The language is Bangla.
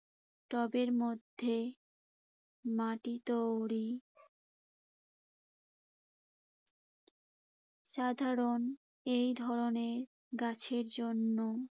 টবের মধ্যে মাটি তৈরি সাধারণ এই ধরনের গাছের জন্য